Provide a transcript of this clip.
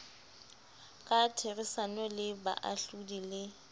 ka therisano le baahlodi le